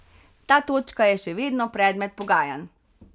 Ta točka je še vedno predmet pogajanj.